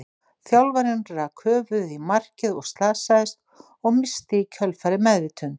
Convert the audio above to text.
Þjálfarinn rak höfuðið í markið og slasaðist, og missti í kjölfarið meðvitund.